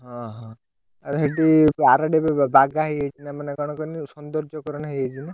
ଓହୋ ଆଉ ସେଉଠୁ ଆରଡିରେ ଏବେ ବାଗା ହେଇଯାଇଛିନା ମାନେ କଣ କହନି? ସୌନ୍ଦର୍ଯ୍ୟକରଣ ହେଇଯାଇଛି ନା।